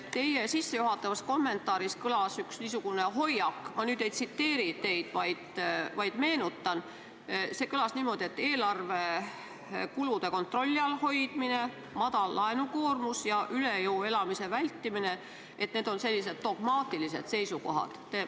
Teie sissejuhatavas kommentaaris kõlas üks niisugune hoiak – ma nüüd ei tsiteeri teid, vaid meenutan –, et eelarve kulude kontrolli all hoidmine, madal laenukoormus ja üle jõu elamise vältimine on sellised dogmaatilised seisukohad.